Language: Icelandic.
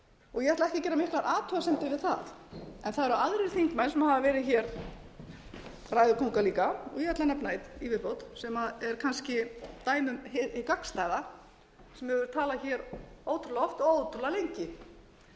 og ég ætla ekki að gera miklar athugasemdir við það en það eru aðrir þingmenn sem hafa verið ræðukóngar líka og ég ætla að nefna einn í vi viðbót sem er kannski dæmi um hið gagnstæða sem hefur talað ótrúlega oft og ótrúlega lengi